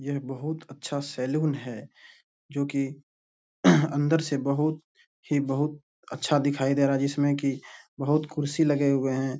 ये बहुत अच्छा सैलून है जो की अंदर से बहुत ही बहुत अच्छा दिखाई दे रहा है जिसमें की बहुत कुर्सी लगे हुए हैं।